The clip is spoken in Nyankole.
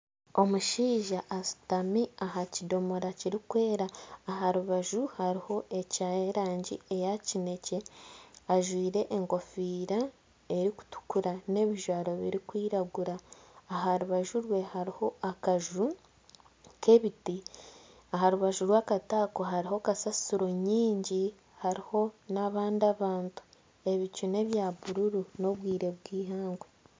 Omushaija ashutami aha kidomora Kirikwera aha rubaju hariho eky'erangi eya kinekye ajwaire enkofiira erikutukura n'ebijwaro birikwiragura aha rubaju rwe hariho akaju k'ebiti aha rubaju rw'akaju ako hariho kasasiro nyingi hariho n'abandi abantu. Ebicu nebya bururu n'obwire bw'eihangwe.